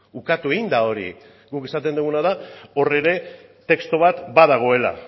ukatu egin da hori guk esaten duguna da hor ere testu bat badagoela